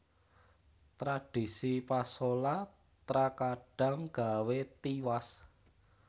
Tradhisi pasola trakadhang gawé tiwas